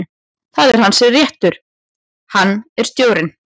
Það er hans réttur, hann er stjórinn.